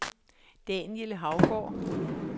Daniel Hougaard